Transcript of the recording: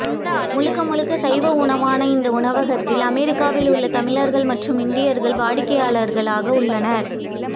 முழுக்க முழுக்க சைவ உணவான இந்த உணவகத்தில் அமெரிக்காவில் உள்ள தமிழர்கள் மற்றும் இந்தியர்கள் வாடிக்கையாளர்களாக உள்ளனர்